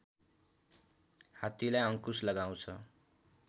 हात्तीलाई अङ्कुश लगाउँछ